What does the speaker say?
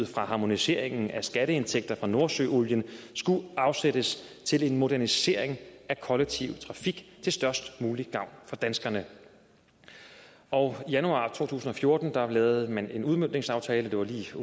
fra harmoniseringen af skatteindtægter fra nordsøolien skulle afsættes til en modernisering af kollektiv trafik til størst mulig gavn for danskerne og i januar to tusind og fjorten lavede man en udviklingsaftale det var lige